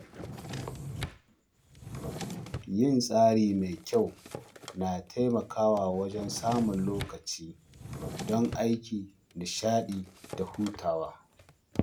Yin tsari mai kyau na taimakawa wajen samun lokaci don aiki, nishaɗi, da hutawa.